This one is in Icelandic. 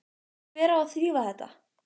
Og hver á að þrífa þetta?